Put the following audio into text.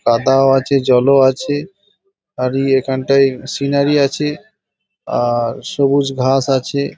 কাদাও আছে জল ও আছে আর এখানটায় সিনারি আছে আর সবুজ ঘাস আছে।